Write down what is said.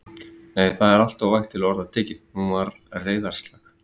Nei, það er alltof vægt til orða tekið: hún var reiðarslag.